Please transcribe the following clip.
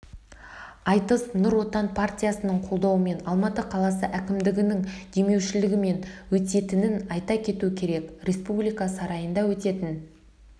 айтыс нұр отан партиясының қолдауымен алматы қаласы әкімдігінің демеушілігімен өтетінін айта кету керек республика сарайында өтетін